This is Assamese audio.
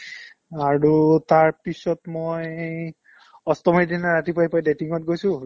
অ, আৰু তাৰপিছত মই অষ্টমীৰ দিনা ৰাতিপুৱাই পুৱাই dating ত গৈছো